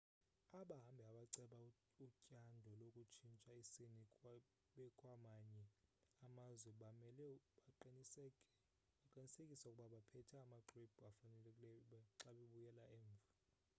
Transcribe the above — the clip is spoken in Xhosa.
abahambi abaceba utyando lokutshintsha isini bekwamanye amazwe bamele baqinisekise ukuba baphethe amaxwebhu afanelekileyo xa bebuyela emva